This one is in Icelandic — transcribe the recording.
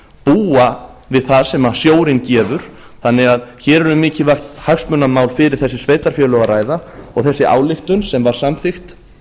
búa við það sem sjórinn gefur þannig að hér er um mikilvægt hagsmunamál fyrir þessi sveitarfélög að ræða þessi ályktun sem var samþykkt